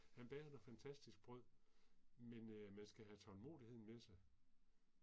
Han bager noget fantastisk brød men øh man skal have tålmodigheden med sig